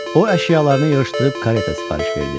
O əşyalarını yığışdırıb kareta sifariş verdi.